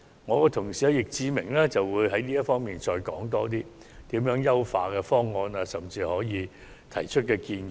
我的同事易志明議員會就此作出詳細的說明，談談有何優化方案，甚至提出建議。